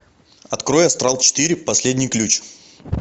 открой астрал четыре последний ключ